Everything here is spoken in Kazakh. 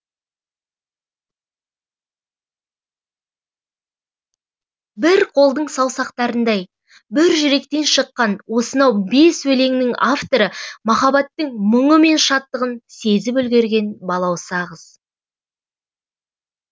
бір қолдың саусақтарындай бір жүректен шыққан осынау бес өлеңнің авторы махаббаттың мұңы мен шаттығын сезіп үлгерген балауса қыз